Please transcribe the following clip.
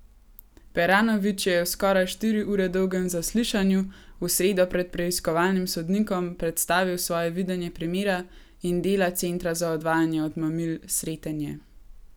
Peranović je v skoraj štiri ure dolgem zaslišanju v sredo pred preiskovalnim sodnikom predstavil svoje videnje primera in dela centra za odvajanje od mamil Sretenje.